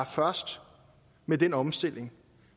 først med den omstilling